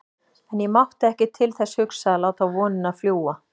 En ég mátti ekki til þess hugsa að láta vonina fljúga.